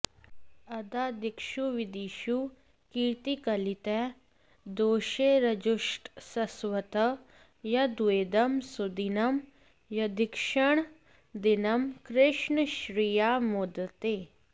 अद्धा दिक्षुविदिक्षु कीर्त्तिकलितः दोषैरजुष्टस्स्वतः यद्वेदं सुदिनं यदीक्षणदिनं कृष्णश्श्रिया मोदते